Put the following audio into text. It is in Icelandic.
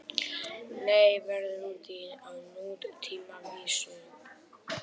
Nei, verða úti á nútímavísu